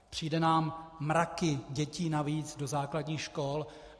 Přijdou nám mraky dětí navíc do základních škol.